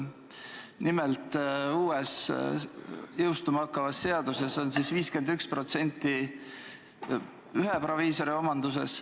Nimelt, uue jõustuma hakkava seaduse kohaselt peab vähemalt 51% olema ühe proviisori omanduses.